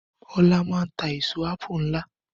Ọlá maa ń tà èèso àpù nlá